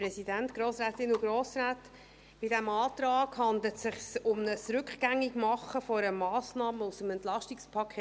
Bei diesem Antrag handelt es sich um ein Rückgängigmachen einer Massnahme aus dem EP 2018.